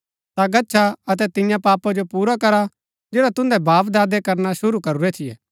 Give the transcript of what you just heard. ता गच्छा अतै तियां पापा जो पुरा करा जैड़ा तुन्दै बापदादे करना शुरू करूरै थियै